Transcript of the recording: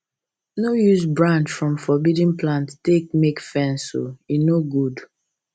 no use branch from forbidden plant make fence e no good